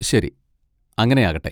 ശരി, അങ്ങനെ ആകട്ടെ.